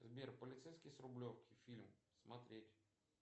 сбер полицейский с рублевки фильм смотреть